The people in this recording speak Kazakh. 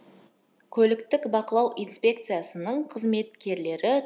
көліктік бақылау инспекциясының қызметкерлері